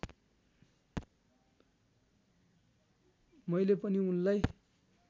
मैले पनि उनलाई